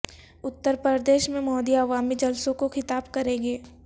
اترپردیش میں مودی عوامی جلسوں کو خطاب کریں گے